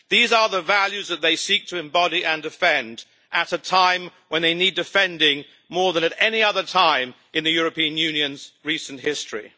These are the values that they seek to embody and defend, at a time when they need defending more than at any other time in the European Union's recent history.